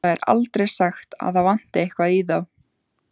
Það er aldrei sagt að það vanti eitthvað í þá.